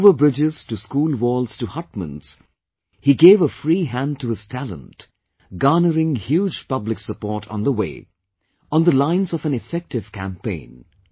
From over bridges to school walls to hutments he gave a free hand to his talent, garnering huge public support on the way, on the lines of an effective campaign